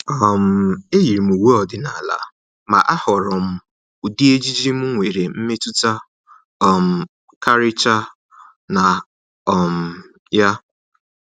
um E yiiri m uwe ọdịnala, ma ahọọrọ m ụdị ejiji m nwere mmetụta um karịchaa na um ya.